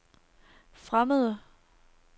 fremmede